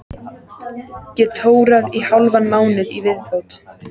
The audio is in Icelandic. Get tórað í hálfan mánuð í viðbót.